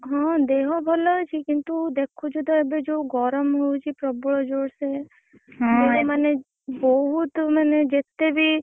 ଦେହ ଭଲ ଅଛି କିନ୍ତୁ ଦେଖୁଛୁ ତ ଏବେ ଯୋଉ ଗରମ ହଉଛି ପ୍ରବଳ ଜୋରସେ